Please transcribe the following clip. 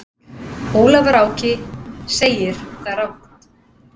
Ólafur Áki segir það rangt.